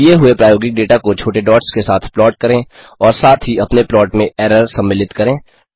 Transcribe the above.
दिए हुए प्रायोगिक डेटा को छोटे डॉट्स के साथ प्लॉट करें और साथ ही अपने प्लॉट में एरर सम्मिलित करें